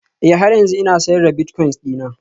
Ee, har yanzu ina sayar da bilitcoins dina